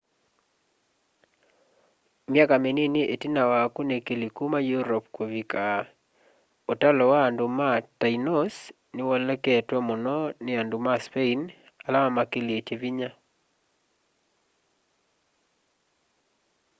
myaka minini itina wa akunikili kuma europe kuvika utalo wa andu ma tainos ni woleketwe muno ni andu ma spain ala mamakĩlilye vinya